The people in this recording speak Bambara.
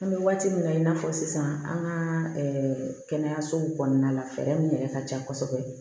An bɛ waati min na i n'a fɔ sisan an ka kɛnɛyasow kɔnɔna la fɛɛrɛ min yɛrɛ ka ca kosɛbɛ